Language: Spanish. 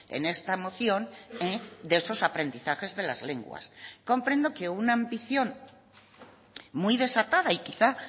en esta moción de esos aprendizajes de las lenguas comprendo que una ambición muy desatada y quizá